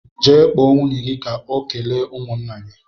Jee kpọọ nwunye gị ka o kelee ụmụnna gị!